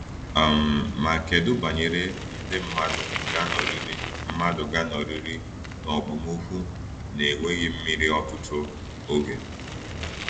um Ma kedu banyere nde mmadụ ga-anọrịrị mmadụ ga-anọrịrị n’okpomọkụ na-enweghị mmiri ọtụtụ oge?